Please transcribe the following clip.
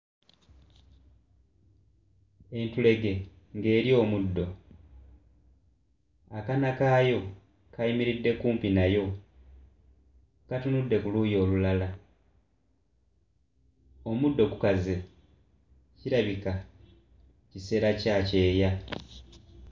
Entulege ng'erya omuddo akaana kaayo kayimiridde kumpi nayo katunudde ku luuyi olulala omuddo gukaze kirabika kiseera kya kyeya.